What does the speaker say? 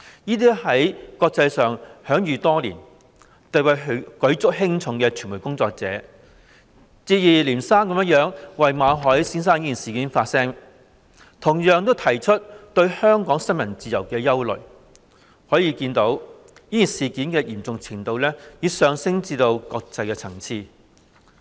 這些在國際上享譽多年、地位舉足輕重的傳媒工作者，接二連三為馬凱事件發聲，同樣提出對香港新聞自由的憂慮，可見事件的嚴重程度已上升至國際層次。